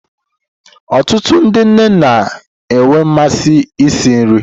Ọtụtụ ndi nne na-enwe mmasị isi nri.